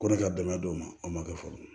Ko ne ka dɛmɛ don o ma a ma kɛ foro ye